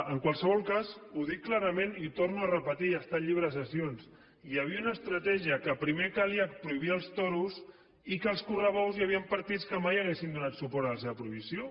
en qualsevol cas ho dic clarament i ho torno a repetir està al llibre de sessions hi havia una estratègia que primer calia prohibir els toros i que els correbous hi havien partits que mai haurien donat suport a la seva prohibició